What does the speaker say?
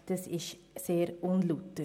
Das ist sehr unlauter.